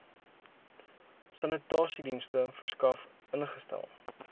sanitasiedienste verskaf ingestel